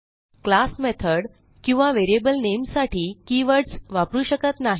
class method किंवा variable नामे साठी कीवर्ड्स वापरू शकत नाही